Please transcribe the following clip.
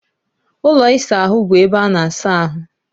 Ụlọ ịsa ahụ bụ ebe ana-asa ahụ.